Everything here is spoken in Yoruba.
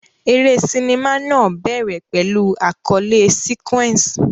Eré sinimá náà bẹ̀rẹ̀ pẹ̀lú àkọlé sequence.